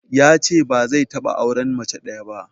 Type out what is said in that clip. Yace ba zai taɓa auren mace ɗaya ba.